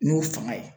N'o fanga ye